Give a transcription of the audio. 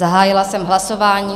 Zahájila jsem hlasování.